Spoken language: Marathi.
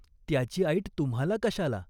त्याची ऐट तुम्हाला कशाला ?